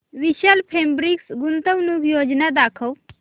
विशाल fabrics गुंतवणूक योजना दाखव